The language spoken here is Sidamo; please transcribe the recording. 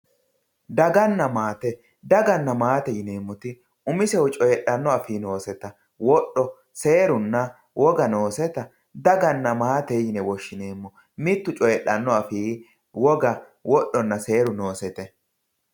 daganna maate daganna maate yineemoti umisehu coyiixanno afii nooseta woxo, seerunna woga nooseta daganna maate yine woshshineemmo mittu cooyiixanno afii woga, woxonna seeru noosete.